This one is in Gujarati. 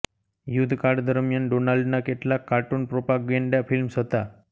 યુદ્ધકાળ દરમિયાન ડોનાલ્ડના કેટલાક કાર્ટુન પ્રોપાગેન્ડા ફિલ્મ્સ હતા